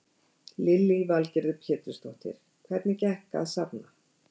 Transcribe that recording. Lillý Valgerður Pétursdóttir: Hvernig gekk að safna?